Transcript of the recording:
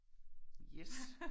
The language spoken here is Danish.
Yes!